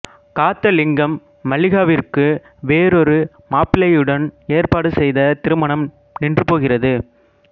காத்தலிங்கம் மல்லிகாவிற்கு வேறொரு மாப்பிளையுடன் ஏற்பாடு செய்த திருமணம் நின்றுபோகிறது